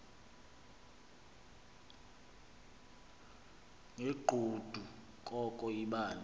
ngegqudu koko yibani